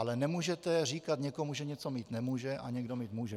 Ale nemůžete říkat někomu, že něco mít nemůže a někdo mít může.